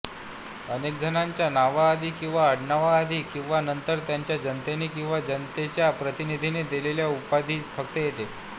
अनेकजणांच्या नावाआधी किंवा आडनावाआधी किंवा नंतर त्यांना जनतेने किंवा जनतेच्या प्रतिनिधींनी दिलेली उपाधीच फक्त येते